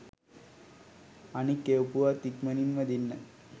අනික් එවපුවත් ඉක්මනින්ම දෙන්න